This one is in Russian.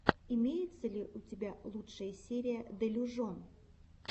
имеется ли у тебя лучшая серия делюжон